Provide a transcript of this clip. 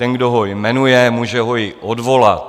Ten, kdo ho jmenuje, může ho i odvolat.